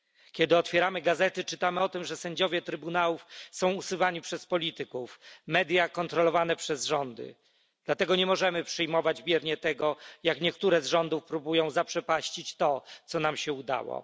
Kiedy otwieramy gazety, czytamy o tym, że sędziowie trybunałów są usuwani przez polityków, media kontrolowane przez rządy, dlatego nie możemy przyjmować biernie tego, jak niektóre z rządów próbują zaprzepaścić to, co nam się udało.